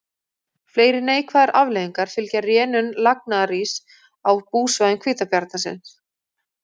Fleiri neikvæðar afleiðingar fylgja rénun lagnaðaríss á búsvæðum hvítabjarnarins.